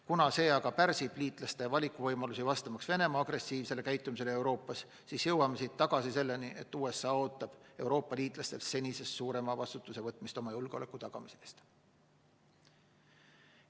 Kuna see pärsib liitlaste valikuvõimalusi, vastamaks Venemaa agressiivsele käitumisele Euroopas, siis jõuame tagasi selleni, et USA ootab Euroopa-liitlastelt senisest suurema vastutuse võtmist oma julgeoleku tagamise eest.